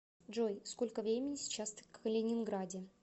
джой сколько времени сейчас в калининграде